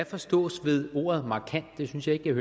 forstås ved ordet markant det synes jeg ikke jeg